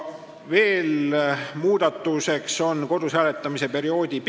Veel tehti muudatus ja pikendati kodus hääletamise perioodi.